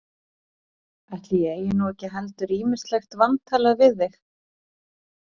Ætli ég eigi nú ekki heldur ýmislegt vantalað við þig.